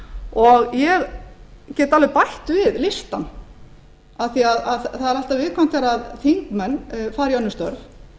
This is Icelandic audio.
og ég get alveg bætt við listann af því að það er alltaf viðkvæmt þegar þingmenn fara í önnur störf